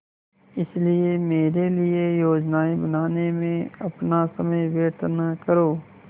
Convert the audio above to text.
इसलिए मेरे लिए योजनाएँ बनाने में अपना समय व्यर्थ न करो